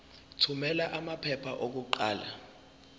thumela amaphepha okuqala